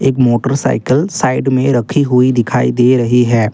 Motorcycle side में रखी हुई दिखाई दे रही है।